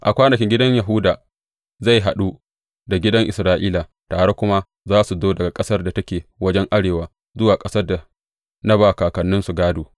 A kwanakin gidan Yahuda zai haɗu da gidan Isra’ila, tare kuma za su zo daga ƙasar da take wajen arewa zuwa ƙasar da na ba kakanninsu gādo.